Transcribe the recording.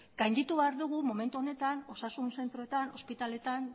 gainditu behar ditugu momentu honetan osasun zentroetan ospitaletan